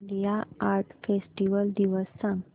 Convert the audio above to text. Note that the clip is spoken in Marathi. इंडिया आर्ट फेस्टिवल दिवस सांग